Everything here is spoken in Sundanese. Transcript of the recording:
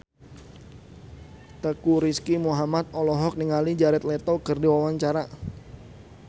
Teuku Rizky Muhammad olohok ningali Jared Leto keur diwawancara